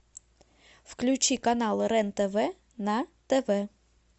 включи канал рен тв на тв